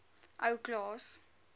ou klaas